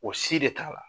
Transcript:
O si de t'a la